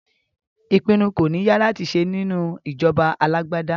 Ìpinnu kò ní ya láti ṣe nínú ìjọba alágbádá